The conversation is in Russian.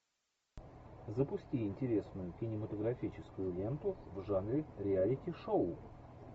запусти интересную кинематографическую ленту в жанре реалити шоу